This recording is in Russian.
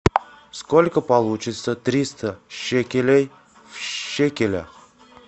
сколько получится триста шекелей в шекелях